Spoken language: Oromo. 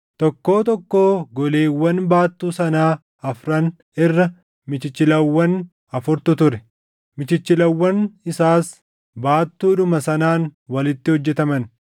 Tokkoo tokkoo goleewwan baattuu sanaa afran irra michichilawwan afurtu ture; michichilawwan isaas baattuudhuma sanaan walitti hojjetaman.